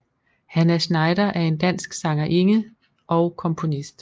Hannah Schneider er en dansk sangerinde og komponist